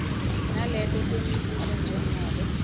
naleto temibuto njengobe